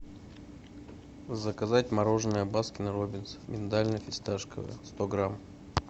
заказать мороженое баскин роббинс миндально фисташковое сто грамм